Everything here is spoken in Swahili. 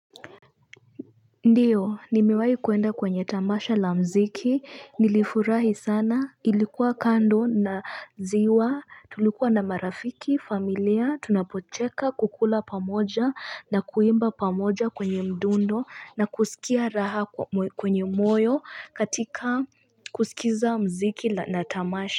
Ndiyo nimewai kwenda kwenye tamasha la mziki nilifurahi sana ilikuwa kando na ziwa tulikuwa na marafiki familia tunapocheka kukula pamoja na kuimba pamoja kwenye mdundo na kusikia raha kwenye moyo katika kusikiza mziki na tamasha.